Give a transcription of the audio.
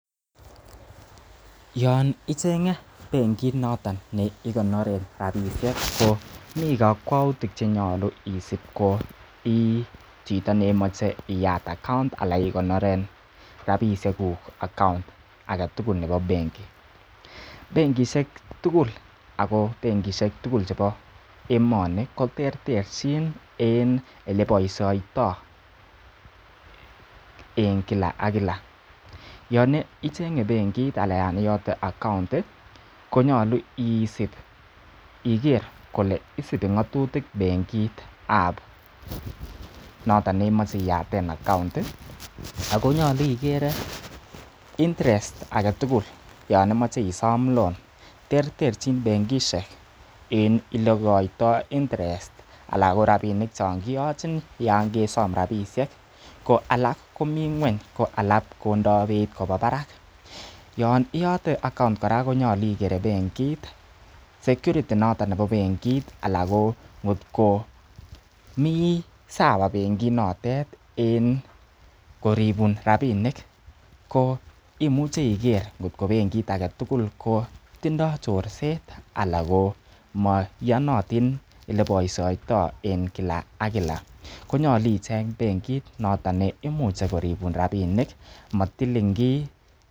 Yon icheng'e bengit noton non igonoren rabishek komi kokwoutik ch enyolu isib koi chito nemocheiyat account ala ikonoren rabishek kuk age tugul nebo benki . Benkishek tugul ago benkishek chebo emoni koterterchin en ele boisioito en kila ak kila yon icheng'e bengit ana yon iyote account konyolu isib igere kole isib ngatuttik bengit ab noton neimoch eiyaten account ago nyolu igere interest age tugul yon imoche isom loan terterchin benkishe en ele igoitoi interest anan ko rabinik chon kiyochin yon kesom rabishek. Ko alak komi ng'weny ko alak kondo beit koba barak yoniyote account kora konyolu igere bengit, security noton nebo bengit ala ko mi sawa bengit notet en koribun rabinik koimuche iger ngotko bengit age tugul ko tindoi chorset anan ko moiyonotin ole boisioito en kila ak kila, konyolu icheng benkit noton neimuche koribun rabinik matilin kiy.